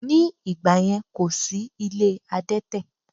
Ní ìgbàyẹn, kò sí ilé adẹ́tẹ̀